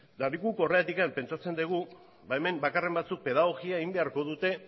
eta guk horregatik pentsatzen dugu hemen bakarren batzuk pedagogia egin beharko dute